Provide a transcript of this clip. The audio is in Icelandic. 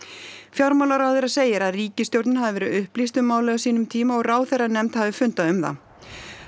fjármálaráðherra segir að ríkisstjórnin hafi verið upplýst um málið á sínum tíma og ráðherranefnd hafi fundað um það